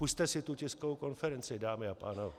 Pusťte si tu tiskovou konferenci, dámy a pánové.